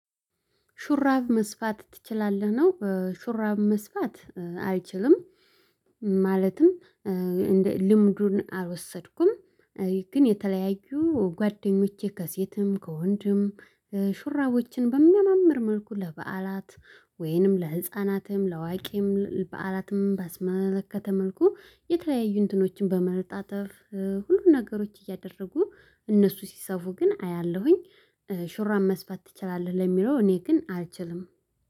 ሹራብ መስፋት ትችላለህ? ነው። ሹራብ መስፋት አልችልም። ማለትም እንደ ልምዱን አልወሰድኩም። ግን የተለያዩ ጓደኞቼ ከሴትም ከወንድም ሹራቦችን በሚያማምር መልኩ ለበዓላት ወይንም ለህፃናትም ለአዋቂም በዓላትም ባስመለከተ መልኩ የተለያዩ እንትኖችን በመረጣጠፍ ሁሉ ነገሮች እያደረጉ እነሱ ሲሰፉ ግን አያለሁኝ። ሹራን መስፋት ትችላለህ? ለሚለው እኔ ግን አልችልም